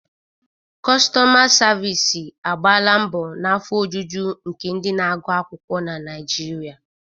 Kostoma savisi agbala mbo na afọ ojuju nke ndị na-agụ akwukwuo na Naijiria.